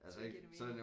Så give det mening